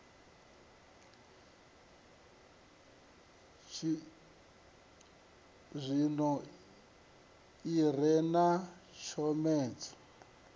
tshizwino i re na tshomedzo